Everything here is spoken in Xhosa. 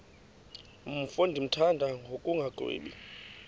mfo ndimthanda ngokungagwebi